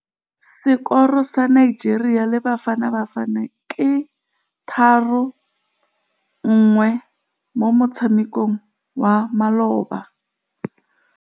Sekôrô sa Nigeria le Bafanabafana ke 3-1 mo motshamekong wa malôba.